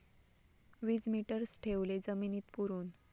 वीजमीटर्स ठेवले जमिनीत पुरून